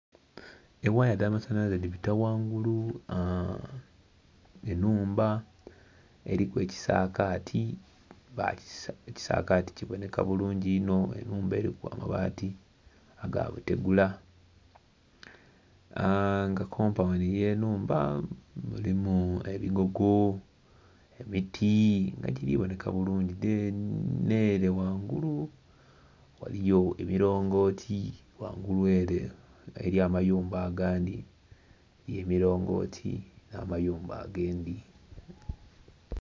Ewaaya edha amasanalaze dhibita ghangulu aa.. enhumba eriku ekisagati, ekisagati kiboneka bulungi inho enhumba eriku amabaati aga butegula aa.. nga kompawundi ey'enhumba mulimu ebigogo, emiti nga giri boneka bulungi dheni n'ere ghangulu ghaliyo emirongooti ghangulu ere eriyo amayumba agandhi y'emirongooti n'amayumba agandhi.